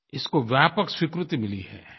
इसको व्यापक स्वीकृति मिली है